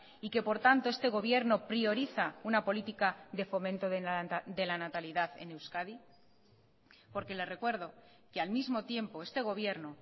y que por tanto este gobierno prioriza una política de fomento de la natalidad en euskadi porque le recuerdo que al mismo tiempo este gobierno